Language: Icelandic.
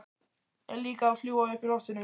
En líka að fljúga uppi í loftinu.